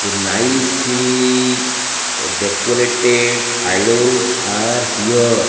the nice decorated idols are here.